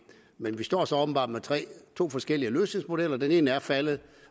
vi står så åbenbart med to forskellige løsningsmodeller den ene er faldet